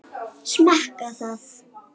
Smakka það.